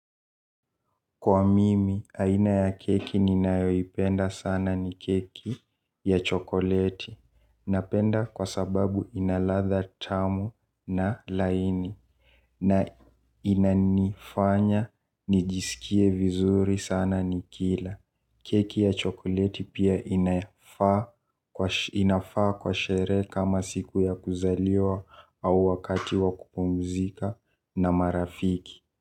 Kwa mimi aina ya keki niyayoipenda sana ni keki ya chokoleti. Napenda kwa sababu ina ladha tamu na laini. Na inanifanya, nijisikie vizuri sana nikiila. Keki ya chokoleti pia inafaa kwa sheree kama siku ya kuzaliwa au wakati wa kupumzika na marafiki.